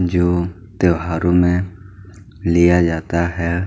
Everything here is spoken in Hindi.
-- जो त्योहारों में लिया जाता है।